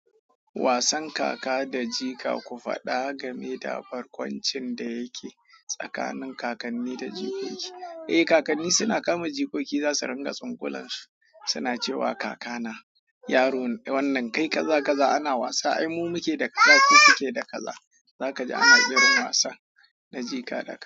Wasan kaka da jika, ku faɗa game da barkwancin da yake tsakanin kakanni da jikoki. Eh kakanni suna kama jikoki za su ringa tsingulan su, suna cewa kaka na yaro wannan kai kaza kaza ana wasa. Ai mu muke da kaza ko ku kuke da kaza? Zaka ji ana irin wasa na jika da ka.